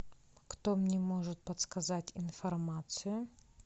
кто мне может подсказать информацию